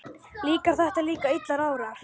Líka þegar að illa árar?